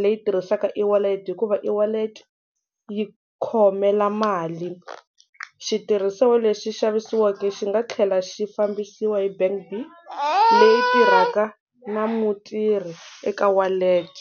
leyi tirhisaka e-wallet hikuva e-wallet yi khomela mali, xitirhisiwa lexi xavisiwaka xi nga tlhela xi fambisiwa hi bank B leyi tirhaka na mutirhi eka wallet.